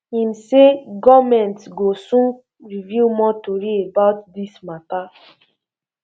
im um say goment go soon reveal more tori about dis um mata